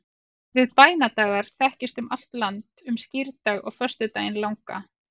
orðið bænadagar þekkist um allt land um skírdag og föstudaginn langa